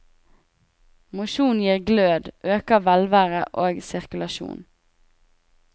Mosjon gir glød, øker velvære og sirkulasjon.